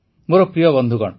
ମୋର ପ୍ରିୟ ବନ୍ଧୁଗଣ